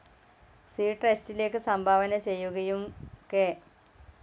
C ട്രസ്റ്റിലേക്ക് സംഭാവന ചെയ്യുകയും കെ.